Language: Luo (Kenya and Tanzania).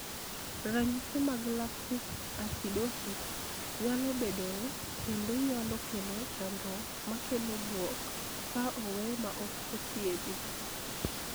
Ranyisi mag lactic acidosis nyalo bedoe kendo nyalo kelo chandruok makelo buok ka owe ma ok othiedhi.